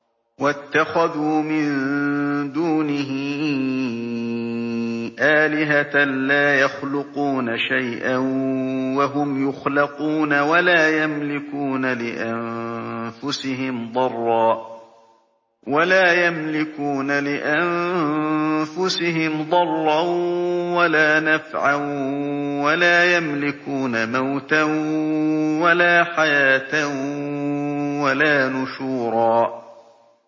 وَاتَّخَذُوا مِن دُونِهِ آلِهَةً لَّا يَخْلُقُونَ شَيْئًا وَهُمْ يُخْلَقُونَ وَلَا يَمْلِكُونَ لِأَنفُسِهِمْ ضَرًّا وَلَا نَفْعًا وَلَا يَمْلِكُونَ مَوْتًا وَلَا حَيَاةً وَلَا نُشُورًا